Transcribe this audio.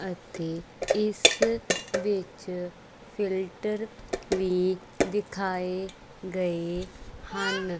ਅਤੇ ਇਸ ਵਿੱਚ ਫਿਲਟਰ ਵੀ ਵਿਖਾਏ ਗਏ ਹਨ।